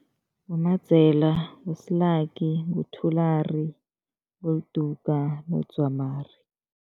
BoMadzela, nguSilaki, nguThulari, nguLiduka noDzwamari.